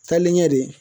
Taalen ɲɛ de